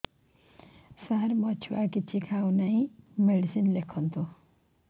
ସାର ମୋ ଛୁଆ କିଛି ଖାଉ ନାହିଁ ମେଡିସିନ ଲେଖନ୍ତୁ